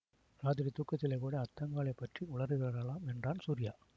இராத்திரி தூக்கத்திலே கூட அத்தங்காளைப் பற்றி உளறுகிறாளாம் என்றான் சூரியா